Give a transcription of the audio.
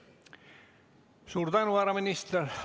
Suur tänu, härra minister!